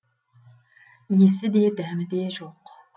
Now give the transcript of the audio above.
иісі де дәмі де жоқ